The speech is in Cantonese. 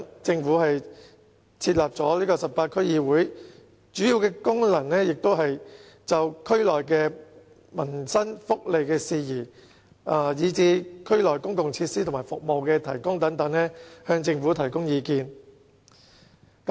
政府因此設立了18區區議會，主要的功能也是就區內的民生福利事宜及區內公共設施和服務的提供等，向政府提供意見。